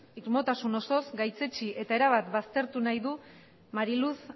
irmotasun osoz gaitzetsi eta erabat baztertu nahi du mari luz